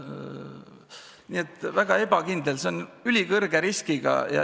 Nii et väga ebakindel on kõik, tegu on ülikõrge riskiga.